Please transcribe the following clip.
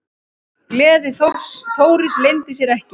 Gleði Þóris leyndi sér ekki.